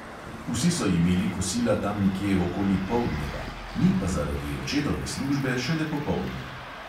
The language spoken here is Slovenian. Vsi so imeli kosila tam nekje okoli poldneva, mi pa zaradi očetove službe šele popoldne.